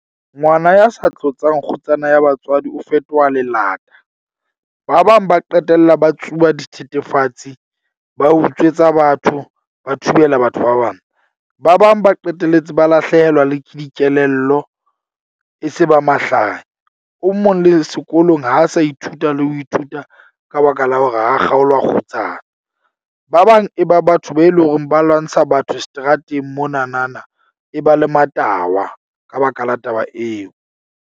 Ngwana ya sa tlotsang kgutsana ya batswadi o fetoha . Ba bang ba qetella ba tsuba dithethefatsi, ba utswetsa batho, ba thubela batho ba bang. Ba bang ba qetelletse ba lahlehelwa le ke dikelello. E se ba mahlanya. O mong le sekolong ha sa ithuta le ho ithuta ka baka la hore ha kgaolwa kgutsana. Ba bang e ba batho be leng horeng ba lwantsha batho seterateng mona na na e ba le matahwa, ka baka la taba eo.